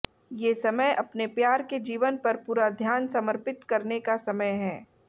ये समय अपने प्यार के जीवन पर पूरा ध्यान समर्पित करने का समय है